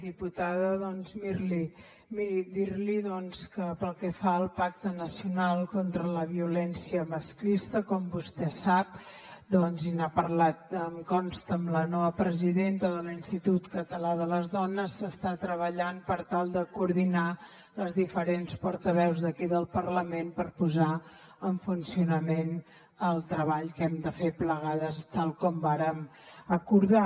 diputada doncs miri dir li que pel que fa al pacte nacional contra la violència masclista com vostè sap i n’ha parlat em consta amb la nova presidenta de l’institut català de les dones s’està treballant per tal de coordinar les diferents portaveus d’aquí del parlament per posar en funcionament el treball que hem de fer plegades tal com vàrem acordar